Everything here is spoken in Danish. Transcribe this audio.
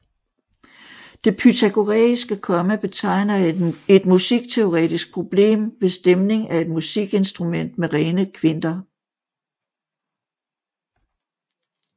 Det pythagoræiske komma betegner et musikteorisk problem ved stemning af et musikinstrument med rene kvinter